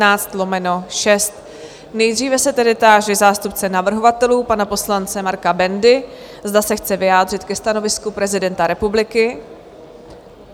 Nejdříve se tedy táži zástupce navrhovatelů pana poslance Marka Bendy, zda se chce vyjádřit ke stanovisku prezidenta republiky?